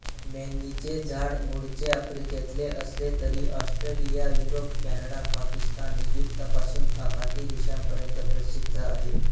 मेंदीचे झाड मूळचे आफ्रिकेतले असले तरी ऑस्ट्रेलिया युरोप कॅनडा पाकिस्तान इजिप्तपासून आखाती देशापर्यंत प्रसिद्ध आहे